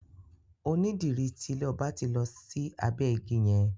Onídìrí ti ilé ọba ti lọ sí abẹ́ ìgi yẹn.